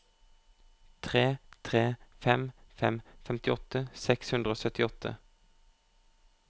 tre tre fem fem femtiåtte seks hundre og syttiåtte